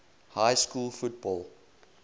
high school football